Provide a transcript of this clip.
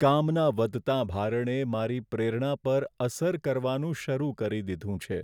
કામના વધતાં ભારણે મારી પ્રેરણા પર અસર કરવાનું શરૂ કરી દીધું છે.